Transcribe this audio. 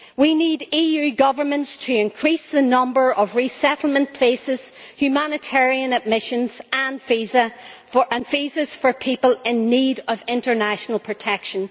We need EU governments to increase the number of resettlement places, humanitarian admissions and visas for people in need of international protection.